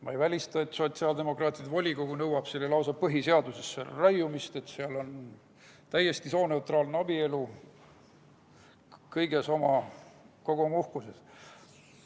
Ma ei välista, et sotsiaaldemokraatide volikogu nõuab lausa selle põhiseadusesse raiumist, et seal oleks täiesti sooneutraalne abielu kogu oma uhkuses.